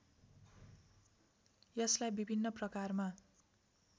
यसलाई विभिन्न प्रकारमा